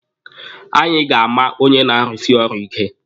Anyị ga-ama onye na-arusi ọrụ ike.